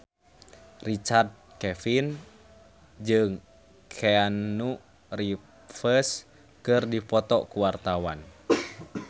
Richard Kevin jeung Keanu Reeves keur dipoto ku wartawan